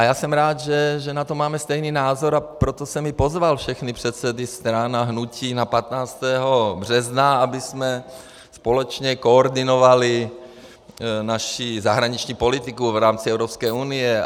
A já jsem rád, že na to máme stejný názor, a proto jsem i pozval všechny předsedy stran a hnutí na 15. března, abychom společně koordinovali naši zahraniční politiku v rámci Evropské unie.